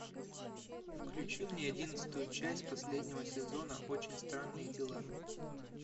включи мне одиннадцатую часть последнего сезона очень странные дела